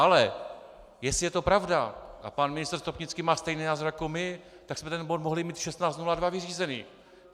Ale jestli je to pravda a pan ministr Stropnický má stejný názor jako my, tak jsme ten bod mohli mít v 16.02 vyřízený.